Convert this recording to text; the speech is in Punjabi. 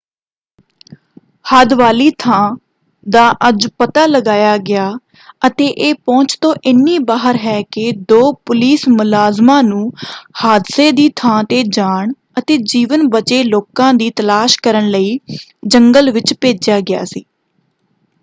ਹਾਦਵਾਲੀ ਥਾਂ ਦਾ ਅੱਜ ਪਤਾ ਲਗਾਇਆ ਗਿਆ ਅਤੇ ਇਹ ਪਹੁੰਚ ਤੋਂ ਇੰਨੀ ਬਾਹਰ ਹੈ ਕਿ ਦੋ ਪੁਲਿਸ ਮੁਲਾਜ਼ਮਾਂ ਨੂੰ ਹਾਦਸੇ ਦੀ ਥਾਂ 'ਤੇ ਜਾਣ ਅਤੇ ਜੀਵਨ ਬਚੇ ਲੋਕਾਂ ਦੀ ਤਲਾਸ਼ ਕਰਨ ਲਈ ਜੰਗਲ ਵਿੱਚ ਭੇਜਿਆ ਗਿਆ ਸੀ।